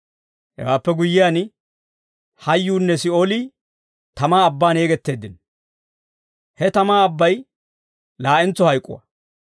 Hewaappe guyyiyaan, hayuunne Si'oolii tamaa abbaan yegetteeddino. He tamaa abbay laa'entso hayk'uwaa.